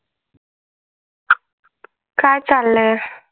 काय चाललय?